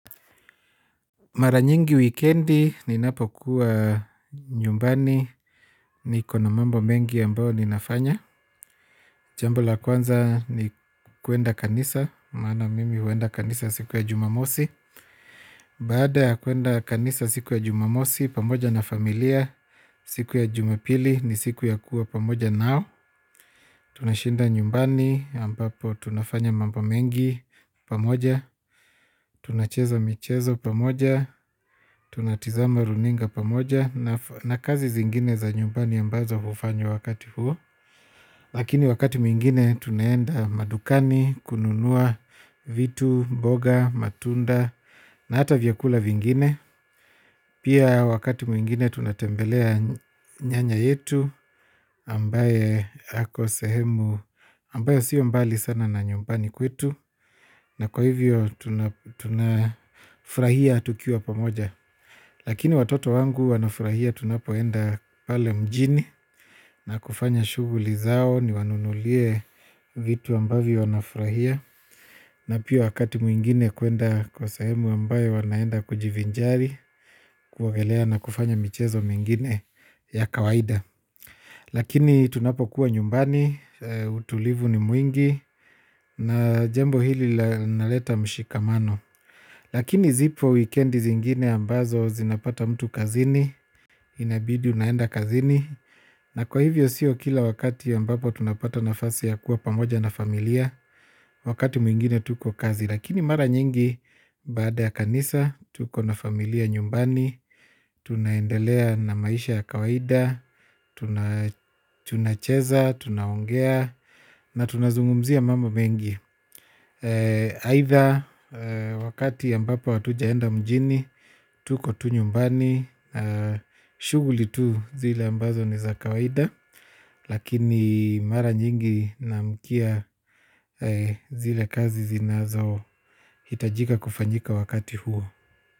Mara nyingi wikendi, ninapo kuwa nyumbani ni kona mambo mengi ambao ninafanya. Jambo la kwanza ni kuenda kanisa, maana mimi huenda kanisa siku ya jumamosi. Baada ya kuenda kanisa siku ya jumamosi, pamoja na familia, siku ya jumapili ni siku ya kuwa pamoja nao. Tunashinda nyumbani ambapo tunafanya mambo mengi pamoja. Tunacheza michezo pamoja. Tunatizama runinga pamoja. Na kazi zingine za nyumbani ambazo hufanywa wakati huo. Lakini wakati mwingine tunaenda madukani, kununua vitu, mboga, matunda. Na hata vyakula vingine. Pia wakati mwingine tunatembelea nyanya yetu ambaye hako sehemu ambayo siyo mbali sana na nyumbani kwetu na kwa hivyo tunafurahia tukiwa pamoja lakini watoto wangu wanafurahia tunapoenda pale mjini na kufanya shuguli zao ni wanunulie vitu ambavyo wanafurahia na pia wakati mwingine kwenda kwa sehemu ambayo wanaenda kujivinjari kwogelea na kufanya michezo mingine ya kawaida. Lakini tunapo kuwa nyumbani, utulivu ni mwingi na jembo hili na leta mshikamano. Lakini zipo wikendi zingine ambazo zinapata mtu kazini, inabidi unaenda kazini na kwa hivyo siyo kila wakati ambapo tunapata nafasi ya kuwa pamoja na familia wakati mwingine tuko kazi. Lakini mara nyingi baada ya kanisa, tuko na familia nyumbani, tunaendelea na maisha ya kawaida, tuna cheza, tunaongea, na tunazungumzia mambo mengi aitha wakati ambapo watujaenda mjini, tuko tu nyumbani, shuguli tu zile ambazo ni za kawaida. Lakini mara nyingi na mkia zile kazi zinazo hitajika kufanyika wakati huo.